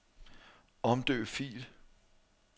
Omdøb fil.